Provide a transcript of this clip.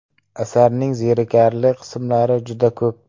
Asarning zerikarli qismlari juda ko‘p.